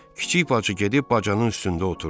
Kiçik bacı gedib bacanın üstündə oturdu.